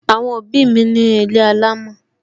Àwọn òbí mi ní ilé alámò